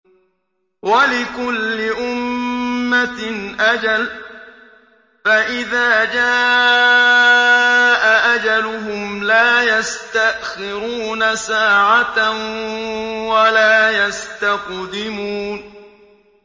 وَلِكُلِّ أُمَّةٍ أَجَلٌ ۖ فَإِذَا جَاءَ أَجَلُهُمْ لَا يَسْتَأْخِرُونَ سَاعَةً ۖ وَلَا يَسْتَقْدِمُونَ